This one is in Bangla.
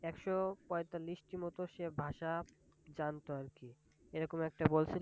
একশো পয়তাল্লিশ টি মতো সে ভাষা জানত আর কি। এরকম একটা বলসে।